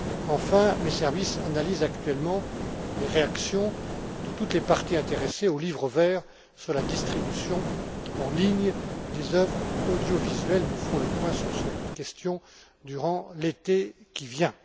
Enfin, mes services analysent actuellement les réactions de toutes les parties intéressées au livre vert sur la distribution en ligne des œuvres audiovisuelles. Nous ferons le point sur cette question durant l'été qui vient.